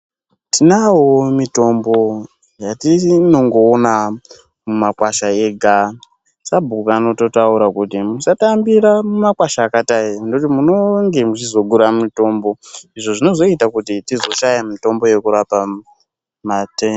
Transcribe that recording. Tinawowo mitombo yatinongoona mumakwasha ega. Sabhuku anototaura kuti musatambira mumakwasha akadai nekuti munonge muchizogura mitombo, izvo zvinozoita kuti tizoshaya mitombo yekurapa mate....